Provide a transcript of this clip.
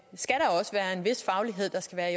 der